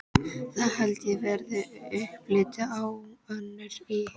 Það held ég verði upplit á Önnu í